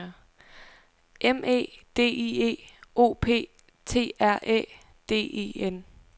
M E D I E O P T R Æ D E N